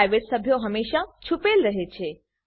private સભ્યો હમેશા છુપેલ રહે છે